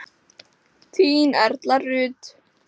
Þín Erla Rut.